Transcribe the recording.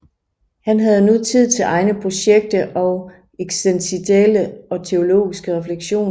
Han havde nu tid til egne projekter og eksistentielle og teologiske refleksioner